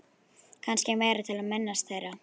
Kannski meira til að minnast þeirra.